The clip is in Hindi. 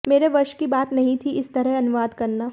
मेरे वश की बात नहीं थी इस तरह अनुवाद करना